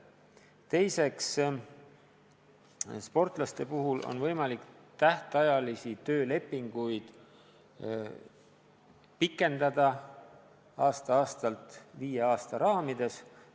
Teiseks, sportlaste puhul on võimalik tähtajalisi töölepinguid pikendada aasta-aastalt viie aasta raamides.